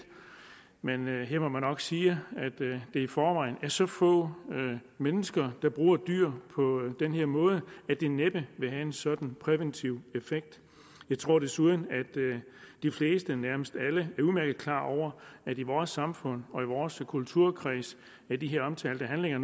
men her må man nok sige at det i forvejen er så få mennesker der bruger dyr på den her måde at det næppe vil have en sådan præventiv effekt jeg tror desuden at de fleste nærmest alle er udmærket klar over at i vores samfund og i vores kulturkreds er de her omtalte handlinger